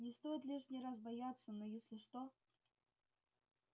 не стоит лишний раз бояться но если что